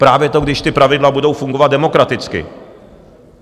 Právě to, když ta pravidla budou fungovat demokraticky.